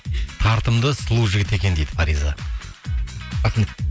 тартымды сұлу жігіт екен дейді фариза рахмет